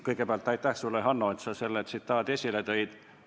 Kõigepealt aitäh sulle, Hanno, et sa selle tsitaadi esile tõid!